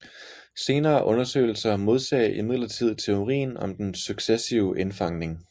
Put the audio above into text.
Senere undersøgelser modsagde imidlertid teorien om den successive indfangning